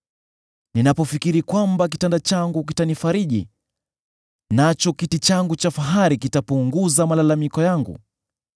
Ninapofikiri kwamba kitanda changu kitanifariji, nacho kiti changu cha fahari kitapunguza malalamiko yangu,